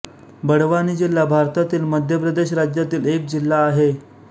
बड़वानी जिल्हा भारतातील मध्य प्रदेश राज्यातील एक जिल्हा आहे